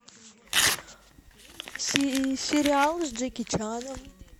сериал с джеки чаном